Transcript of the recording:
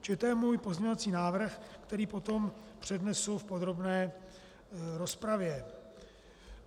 Čili to je můj pozměňovací návrh, který potom přednesu v podrobné rozpravě.